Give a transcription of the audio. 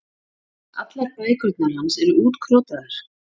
Allar bækurnar hans eru útkrotaðar.